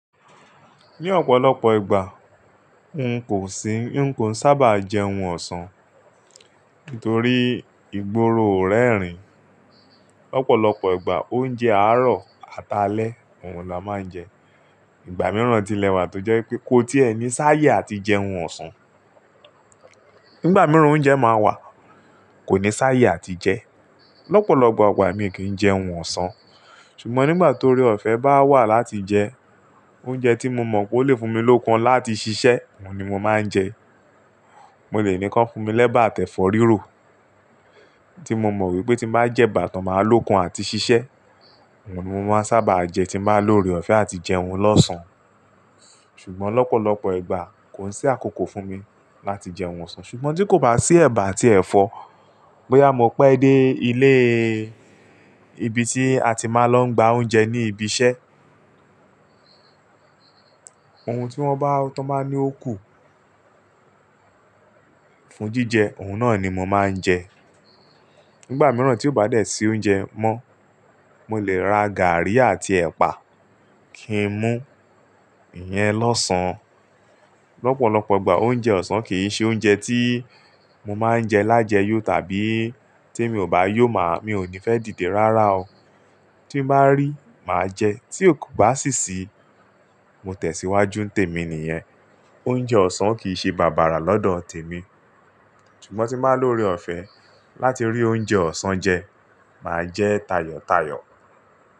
Ní ọ̀pọ̀lọpọ̀ ìgbà n kò sí, n kò sábà jẹun ọ̀sán nítorí ìgboro ò rẹ́ rìn. Ọ̀pọ̀lọpọ̀ ìgbà oúnjẹ àárọ̀ àtàlẹ̀ òun la máa ń jẹ. Ìgbà mìíràn tilẹ̀ wà tó jẹ́ pé kó tí ẹni sá yè àti jẹun ọ̀sán. Nígbà mìíràn oúnjẹ máa wà, kò ní sá yè àti jẹ. Ọ̀pọ̀lọpọ̀ ọ̀gbà èmi kì í jẹ ohun ọ̀sán. Ṣùgbọ́n nígbà tóore ọ̀fẹ́ bá wà láti jẹ oúnjẹ tí mo mọ̀ pé ó lè fún mi lókun láti ṣiṣẹ́, òun ni mo máa ń jẹ. Mo lè ní kàn fún mi lẹ́bàá àti ẹfọ́ rírò, tí mo mọ̀ wípé tí n bá jẹ bàtán máa lókun àti ṣiṣẹ́, òun ni mo máa ń sábà jẹ tí n bá lórí ọ̀fẹ́ àti jẹ ohun lọ́sán. Ṣùgbọ́n lọ́pọ̀lọpọ̀ ìgbà kò n sí àkókò fún mi láti jẹ ohun ọ̀sán. Ṣùgbọ́n tí kò bá sí ẹ̀bà àti ẹ̀fọ́, bóyá mo pẹ́ dé ilé ibi tí a ti máa ń lọ gba oúnjẹ ní ibi iṣẹ́, ohun tí wọ́n bá tán máa ní ó kù fún jíjẹ, òun náà ni mo máa ń jẹ. Nígbà mìíràn tí ó bá dẹ̀ sí oúnjẹ mọ́, mo lè ra gàrí àti ẹ̀pà kí n mú ìyẹn lọ́sán. Ọ̀pọ̀lọpọ̀ ìgbà oúnjẹ ọ̀sán kì í ṣe oúnjẹ tí mo máa ń jẹ lájẹ̀ yóò tàbí tí mi ò bá yóò máa, mi ò ní fẹ́ dìde rárá o. Tí n bá rí, màá jẹ. Tí ò kò bá sì sí, mo tẹ̀síwájú ntèmi nìyẹn. Oúnjẹ ọ̀sán kì í ṣe bàbàrà lọ́dọ̀ tèmi. Ṣùgbọ́n tí n bá lóore ọ̀fẹ́ láti rí oúnjẹ ọ̀sán jẹ, màá jẹ́ tayọ̀tayọ̀.